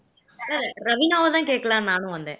ரவிணாவைதான் கேட்கலான்னு நானும் வந்தேன்